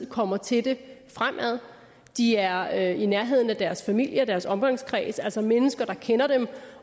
kommer til det fremover de er i nærheden af deres familie og deres omgangskreds altså mennesker der kender dem